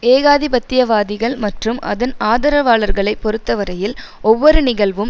ஏகாதிபத்தியவாதிகள் மற்றும் அதன் ஆதரவாளர்களை பொறுத்தவரையில் ஒவ்வொரு நிகழ்வும்